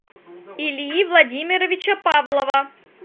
ильи владимировича павлова